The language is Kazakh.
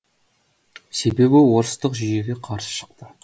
себебі орыстық жүйеге қарсы шықты